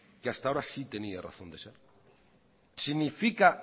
que hasta ahora sí tenía razón de ser significa